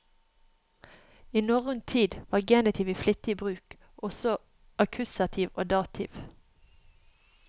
I norrøn tid var genitiv i flittig bruk, og også akkusativ og dativ.